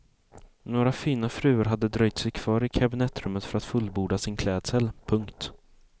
Några fina fruar hade dröjt sig kvar i kabinettrummet för att fullborda sin klädsel. punkt